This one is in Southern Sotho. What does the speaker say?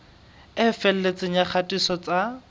e felletseng ya kgatiso tsa